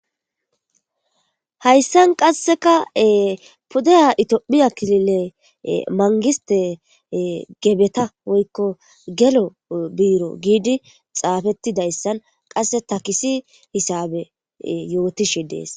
Hayssan qasseka pudeya itiophiya klile mangiste gebeta woykko gelo biiro giidi xaafettidayssan qasse takisi hisabe yootishe dees.